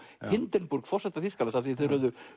Hindenburg forseta Þýskalands af því þeir höfðu